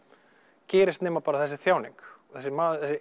gerist nema bara þessi þjáning þessi